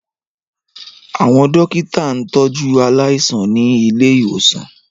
Àwọn dókítà ń tọ jú aláìsàn ní ilé ìwòsàn